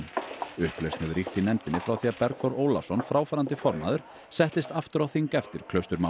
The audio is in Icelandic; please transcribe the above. upplausn hefur ríkt í nefndinni frá því að Bergþór Ólason fráfarandi formaður settist aftur á þing eftir